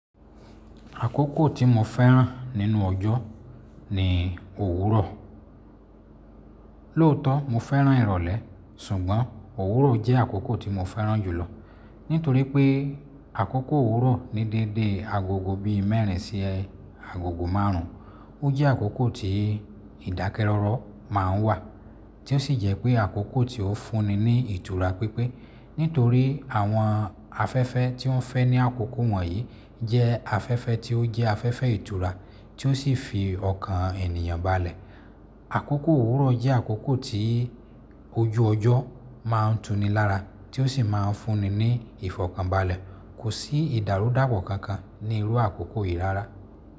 Àkókò tí mo fẹ́ràn nínú ọjọ́ ni òwúrọ̀. Lóòótọ́ mo fẹ́ràn ìrọ̀lẹ́ ṣùgbọ́n òwúrọ̀ jẹ́ àkókò tí mo fẹ́ràn jùlọ nítorí pé àkókò òwúrọ̀ ní dédé agogo bíi mẹ́rin sí agogo márùn ún. Ó jẹ́ àkókò tí ìdákẹ́rọ́rọ́ máa ń wà tí ó sì jẹ́ pé àkókò tí ó fúnni ní ìtura pípé nítorí àwọn afẹ́fẹ́ tí ó ń fẹ́ ní àkókò wọ̀nyí jẹ́ afẹ́fẹ́ tí ó jẹ́ afẹ́fẹ́ ìtura tí ó sì fi ọkàn ènìyàn balẹ̀. Àkókò òwúrọ̀ jẹ́ àkókò tí ojú ọjọ́ máa ń tuni lára tí ó sì máa ń fúnni ní ìfọ̀kànbalẹ̀. Kò sí ìdàrúdàpọ̀ kankan ní irú àkókò yìí rárá.